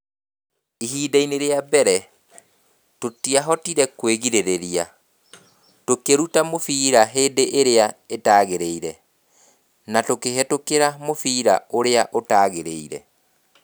Ihinda-inĩ rĩa mbere, tũtiahotire kwĩgirĩrĩria, tũkĩruta mũbira hĩndĩ ĩrĩa ĩtagĩrĩire, na tũkĩhĩtũkĩra mũbira ũrĩa ũtagĩrĩire.